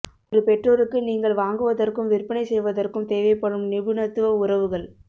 ஒரு பெற்றோருக்கு நீங்கள் வாங்குவதற்கும் விற்பனை செய்வதற்கும் தேவைப்படும் நிபுணத்துவ உறவுகள்